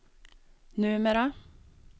numera